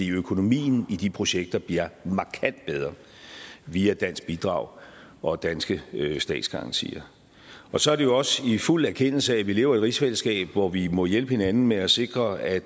økonomien i de projekter bliver markant bedre via dansk bidrag og danske statsgarantier og så er det jo også i fuld erkendelse at vi lever i et rigsfællesskab hvor vi må hjælpe hinanden med at sikre at